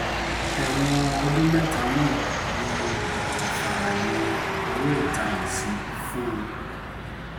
ẹ̀wọ̀n ọdún mẹ́ta náà ni kò fààyè owó ìtanràn sí fún un